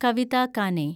Kavitha Kane